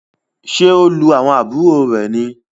Ṣe o lu àwọn àbúrò rẹ ní?